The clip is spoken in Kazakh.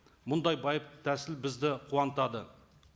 мұндай байып тәсіл бізді қуантады